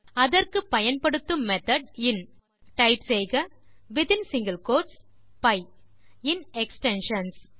அதற்கு பயன்படுத்தும் மெத்தோட் இன் டைப் செய்க வித்தின் சிங்கில் கோட்ஸ் பை இன் எக்ஸ்டென்ஷன்ஸ்